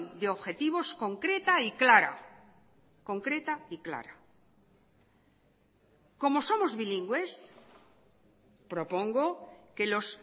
de objetivos concreta y clara concreta y clara como somos bilingües propongo que los